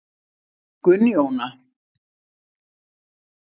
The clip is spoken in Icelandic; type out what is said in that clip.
Gunnjóna